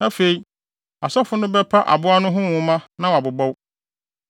Afei, asɔfo no bɛpa aboa no ho nwoma na wɔabobɔw.